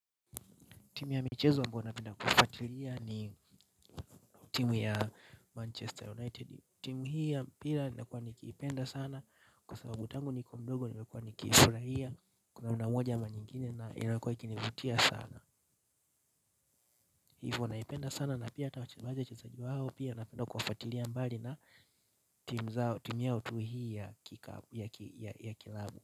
Timu ya michezo ambao napenda kufuatilia ni ni timu ya Manchester United timu hii ya mpira nimekuwa nikiipenda sana kwa sababu tangu nikuwe mdogo nimekuwa nikifurahia kwa namna moja ama nyingine na imekuwa ikinivutia sana. Hivo naipenda sana na pia hata wale wachezaji wao. Pia napenda kuwafuatilia mbali na timu yao tu hii ya klabu.